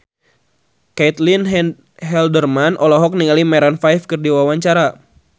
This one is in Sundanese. Caitlin Halderman olohok ningali Maroon 5 keur diwawancara